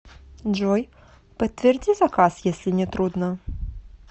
джой подтверди заказ если не трудно